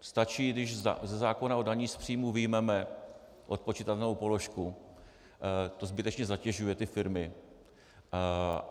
Stačí, když ze zákona o dani z příjmu vyjmeme odpočitatelnou položku, ta zbytečně zatěžuje ty firmy.